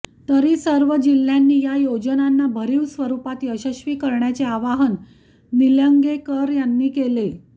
तरी सर्व जिल्ह्यांनी या योजनांना भरीव स्वरुपात यशस्वी करण्याचे आवाहन निलंगेकर यांनी केले